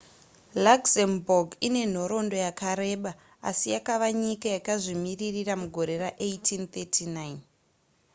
luxembourg ine nhoroondo yakareba asi yakava nyika yakazvimirira mugore ra1839